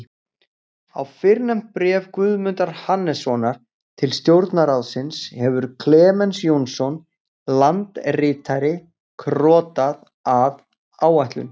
Á fyrrnefnt bréf Guðmundar Hannessonar til Stjórnarráðsins hefur Klemens Jónsson, landritari, krotað, að áætlun